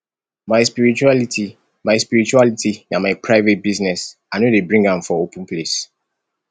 my spirituality my spirituality na my private business i no dey bring am for open place